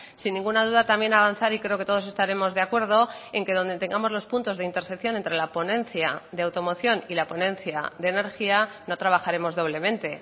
sin ninguna duda también avanzar y creo que todos estaremos de acuerdo en que donde tengamos los puntos de intersección entre la ponencia de automoción y la ponencia de energía no trabajaremos doblemente